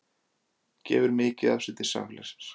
Gefur mikið af sér til samfélagsins